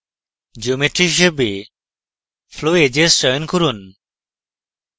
geometry হিসাবে flowedges চয়ন করুন